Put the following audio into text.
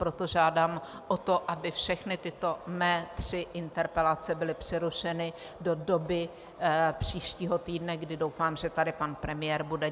Proto žádám o to, aby všechny tyto mé tři interpelace byly přerušeny do doby příštího týdne, kdy doufám, že tady pan premiér bude.